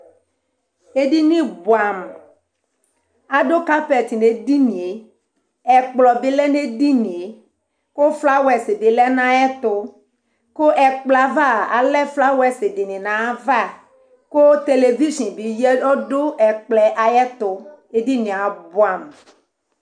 Ɛɖìní bʋamu Aɖu carpet ŋu edinie Ɛkplɔ bi lɛ ŋu ɛɖìníe kʋ flowers ɖu ayʋɛtu Ɛkplɔ ava alɛ flowers ŋu ava kʋ television bi lɛ ŋu ɛkplɔɛ ayʋ ɛtu Ɛɖìníe abʋɛ amu !